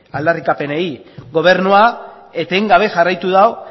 aldarrikapenei gobernua etengabe jarraitu du